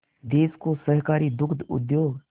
देश को सहकारी दुग्ध उद्योग